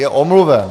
Je omluven.